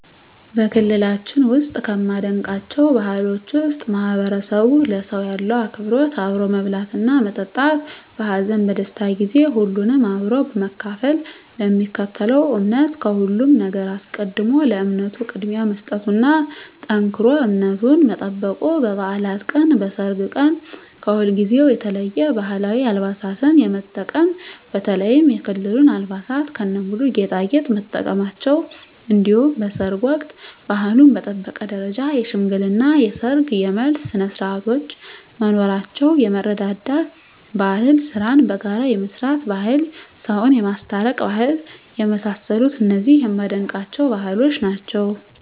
በክልላችን ውስጥ ከማደንቃቸው ባህሎች ውስጥ ማህበረሰቡ ለሰው ያለው አክብሮት አብሮ መብላትና መጠጣት በሀዘን በደስታ ጊዜ ሁሉንም አብሮ በመካፈል ለሚከተለው እምነት ከሁሉም ነገር አስቀድሞ ለእምነቱ ቅድሚያ መስጠቱና ጠንክሮ እምነቱን መጠበቁ በባዕላት ቀን በሰርግ ቀን ከሁልጊዜው የተለየ የባህላዊ አልባሳትን የመጠቀም በተለይም የክልሉን አልባሳት ከነሙሉ ጌጣጌጥ መጠቀማቸው እንዲሁም በሰርግ ወቅት ባህሉን በጠበቀ ደረጃ የሽምግልና የሰርግ የመልስ ስነስርዓቶች መኖራቸው የመረዳዳት ባህል ስራን በጋራ የመስራት ባህል ሰውን የማስታረቅ ባህል የመሳሰሉት እነዚህ የማደንቃቸው ባህሎች ናቸዉ።